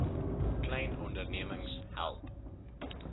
klein ondernemings help